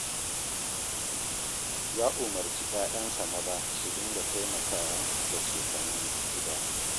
Ya umarci 'ya'yansa maza su dinga taimakawa da cefanen gida